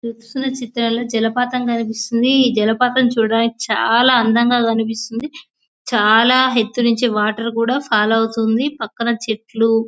మీరు చూసిన చిత్రాలలో జలపాతం కనిపిస్తుంది జలపాతం చూడడానికి చాలా అందంగా కనిపిస్తుంది చాలా ఎత్తు నుంచి కూడా వాటర్ ఫాల్ అవుతుంది పక్కన చెట్లు.